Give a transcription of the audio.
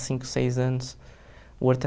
cinco, seis anos. O Horto